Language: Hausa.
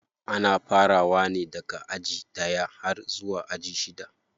Ana farawa ne daga aji ɗaya har zuwa aji shida.